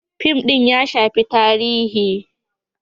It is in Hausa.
Fim din ya shafi tarihi.